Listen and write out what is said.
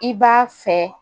I b'a fɛ